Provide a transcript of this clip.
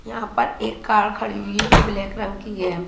यहां पर एक कार खड़ी हुई जो ब्लैक रंग की है।